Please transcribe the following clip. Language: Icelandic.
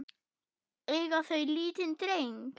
Eiga þau lítinn dreng.